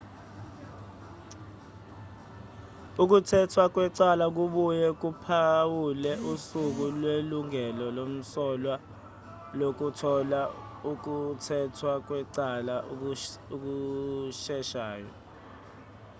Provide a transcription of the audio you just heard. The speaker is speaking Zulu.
ukuthethwa kwecala kubuye kuphawule usuku lwelungelo lomsolwa lokuthotha ukuthethwa kwecala okusheshayo